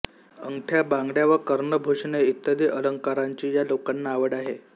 अंगठ्या बांगड्या व कर्णभूषणे इ अलंकारांची या लोकांना आवड आहे